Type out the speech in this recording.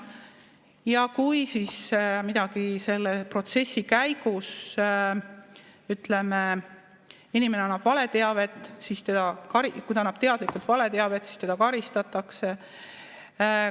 Ja kui siis midagi selle protsessi käigus, ütleme, kui inimene annab teadlikult valeteavet, siis teda karistatakse.